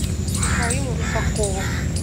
михаилу русакову